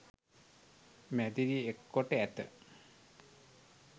මැදිරි එක්කොට ඇත